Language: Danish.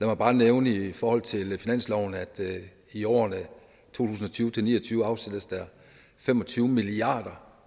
mig bare nævne i forhold til finansloven at i årene to tusind og tyve til ni og tyve afsættes der fem og tyve milliard